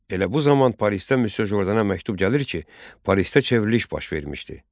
Elə bu zaman Parisdən Müsyo Jordana məktub gəlir ki, Parisdə çevriliş baş vermişdi.